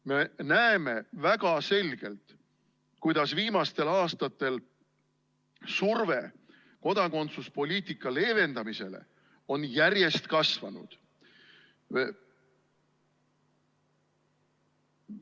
Me näeme väga selgelt, kuidas viimastel aastatel on surve kodakondsuspoliitika leevendamisele järjest kasvanud.